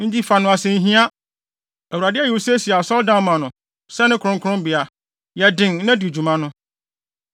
Enti fa no asɛnhia. Awurade ayi wo sɛ si asɔredan ma no, sɛ ne kronkronbea. Yɛ den, na di dwuma no.”